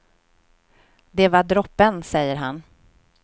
Det var droppen, säger han.